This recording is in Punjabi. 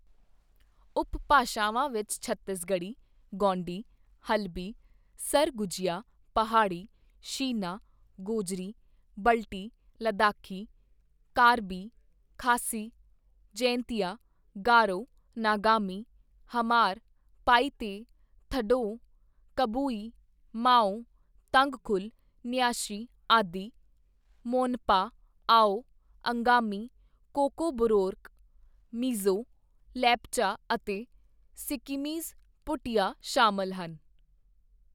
ਉਪਭਾਸ਼ਾਵਾਂ ਵਿੱਚ ਛੱਤੀਸਗੜ੍ਹੀ, ਗੋਂਡੀ, ਹਲਬੀ, ਸਰਗੁਜੀਆ, ਪਹਾੜੀ, ਸ਼ੀਨਾ, ਗੋਜਰੀ, ਬਲਟੀ, ਲੱਦਾਖੀ, ਕਾਰਬੀ, ਖਾਸੀ, ਜੈਂਤੀਆ, ਗਾਰੋ, ਨਾਗਾਮੀ, ਹਮਾਰ, ਪਾਈਤੇ, ਥਡੌਅ, ਕਬੂਈ, ਮਾਓ, ਤੰਗਖੁਲ, ਨਿਆਸ਼ੀ, ਆਦਿ, ਮੋਨਪਾ, ਆਓ, ਅੰਗਾਮੀ, ਕੋਕਬੋਰੋਕ, ਮਿਜ਼ੋ, ਲੇਪਚਾ ਅਤੇ ਸਿੱਕੀਮੀਜ਼ ਭੂਟੀਆ ਸ਼ਾਮਲ ਹਨ।